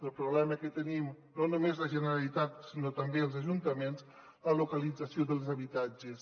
el problema que tenim no només la generalitat sinó també els ajuntaments és la localització dels habitatges